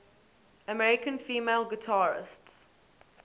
american female guitarists